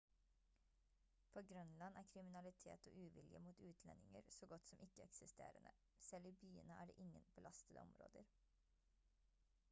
på grønland er kriminalitet og uvilje mot utlendinger så godt som ikke eksisterende. selv i byene er det ingen «belastede områder»